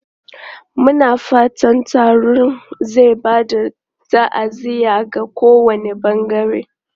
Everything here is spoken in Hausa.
Muna fatan taron zai ba da ta'aziyya ga kowane bangare.